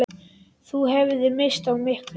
Þú hefðir misst af miklu!